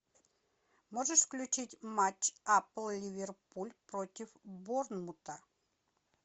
можешь включить матч апл ливерпуль против борнмута